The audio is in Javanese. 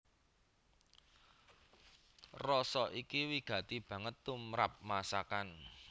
Rasa iki wigati banget tumrap masakan